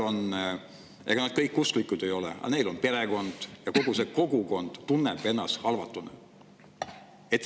Ega nad kõik usklikud ei ole, aga neil on perekond, ja kogu see kogukond tunneb ennast halvatuna.